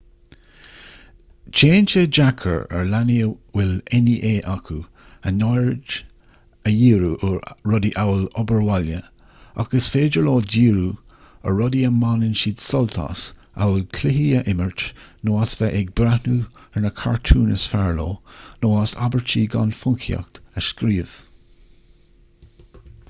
téann sé deacair ar leanaí a bhfuil nea acu a n-aird a dhíriú ar rudaí amhail obair bhaile ach is féidir leo díriú ar rudaí a mbaineann siad sult as amhail cluichí a imirt nó as a bheith ag breathnú ar na cartúin is fearr leo nó as abairtí gan phoncaíocht a scríobh